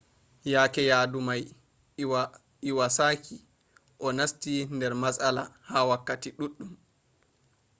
yaa’ke yadu mai lwasaki onasti nder matsala ha wakkati ɗuɗɗum